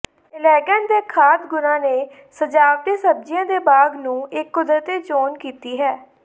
ਅਲੈਗਾਂਟ ਦੇ ਖਾਧ ਗੁਣਾਂ ਨੇ ਸਜਾਵਟੀ ਸਬਜ਼ੀਆਂ ਦੇ ਬਾਗ਼ ਨੂੰ ਇੱਕ ਕੁਦਰਤੀ ਚੋਣ ਕੀਤੀ ਹੈ